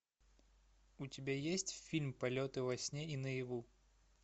у тебя есть фильм полеты во сне и наяву